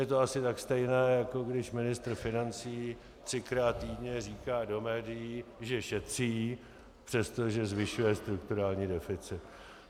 Je to asi tak stejné, jako když ministr financí třikrát týdně říká do médií, že šetří, přestože zvyšuje strukturální deficit.